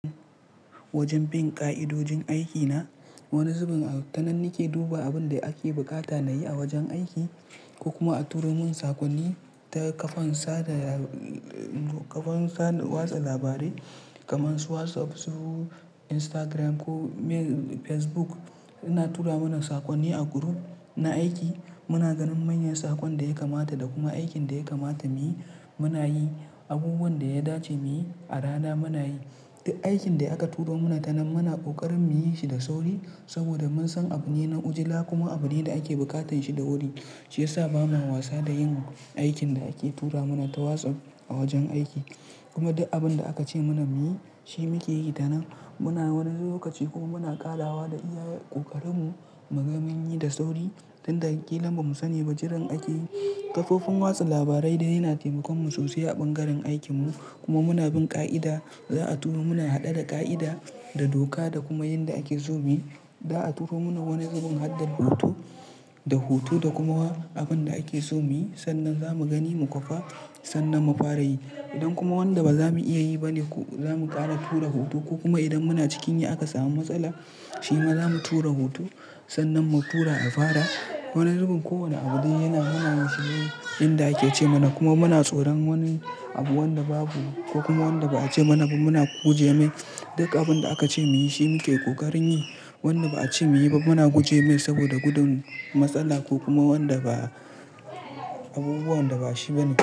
Wajen bin ƙa'idojin aiki na, wani zubin a wa, ta nan nike duba abun da ake buƙata na yi a wajen aiki, ko kuma a turo mun saƙonni, ta kafan sada kafan watsa labarai, kamar su WhatsApp, su Instagram ko me, Facebook. Ina tura mana saƙonni a group na aiki. Muna ganin manyan saƙon da ya kamata, da kuma aikin da ya kamata mu yi, muna yi. Abubuwan da ya dace mu yi, a rana muna yi. Duk aikin da aka turo mana ta nan muna ƙoƙarin mu yi shi da sauri, saboda mun san abune na ujila kuma abune da ake buƙatar shi da wuri, shi ya sa bamu wasa da yin aikin da ake tura mana ta WhatsApp a wajen aiki. Kuma duk abin da aka ce mana mu yi, shi muke yi tanan. Muna wani lokaci kuma muna ƙarawa da iya ƙoƙarin mu, muga mu yi da sauri. Tinda ƙilan ba mu sani ba jiran ake yi, kafofin watsa labarai dai ya na taimakon mu sosai a ɓangaren aikin mu. Kuma muna bin ƙa'ida, za'a turo muna haɗe da ƙa'ida, da doka da kuma yanda ake so mu yi. Za'a turo mana wani zubin hadda hoto, da hoto da kuma abin da ake so mu yi. Sannan za mu gani mu kwafa, sannan mu fara yi. Idan kuma wanda ba za mu iya yi ba ne zamu ƙara tura hoto, ko kuma idan muna cikin yi aka samu matsala, shi ma zamu tura hoto, sannan mu tura afara. Wani zubin kowane abu dai yana mana shi ne inda ake ce mana. Kuma muna tsoron wani abu wanda babu ko kuma wanda ba a ce mana ba muna guje me. Dukkan abin da aka ce mu yi shi muke ƙoƙarin yi. Wanda ba a ce mu yi ba muna guje me saboda gudun matsala ko kuma abubuwan da ba shi bane.